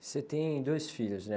Você tem dois filhos, né?